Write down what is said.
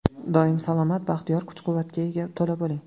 Doim salomat, baxtiyor, kuch-quvvatga to‘la bo‘ling!